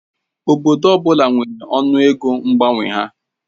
Obodo ọ bụla nwere ọnụ ego mgbanwe ha.